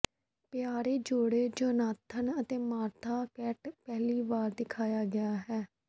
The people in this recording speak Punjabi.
ਪਿਆਰੇ ਜੋੜੇ ਜੋਨਾਥਨ ਅਤੇ ਮਾਰਥਾ ਕੈਂਟ ਪਹਿਲੀ ਵਾਰ ਦਿਖਾਇਆ ਗਿਆ ਹੈ